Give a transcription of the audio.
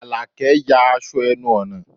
Àlàkẹ́ ya aṣọ ẹnu ọ̀nà rẹ̀